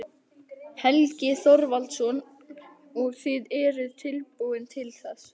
Helgi Þorvaldsson: Og eruð þið tilbúin til þess?